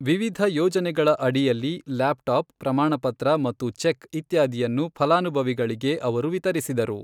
ವಿವಿಧ ಯೋಜನೆಗಳ ಅಢಿಯಲ್ಲಿ ಲ್ಯಾಪ್ ಟಾಪ್, ಪ್ರಮಾಣಪತ್ರ ಮತ್ತು ಚೆಕ್ ಇತ್ಯಾದಿಯನ್ನು ಫಲಾನುಭವಿಗಳಿಗೆ ಅವರು ವಿತರಿಸಿದರು.